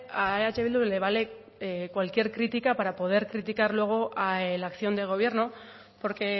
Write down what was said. a eh bildu le vale cualquier crítica para poder criticar luego la acción de gobierno porque